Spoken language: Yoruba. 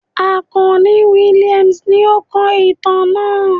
Akanni Williams ní o kó ìtàn náà